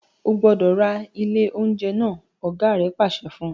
O gbọdọ ra ile ounjẹ naa! ọ̀gá rẹ̀ pàṣẹ fún un.